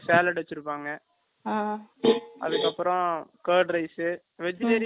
அதுக்கு அப்பறம் curd rice vegetarian ல என்ன என்ன இருக்கோ எல்லாமே வச்சியிருப்பாங்க அங்க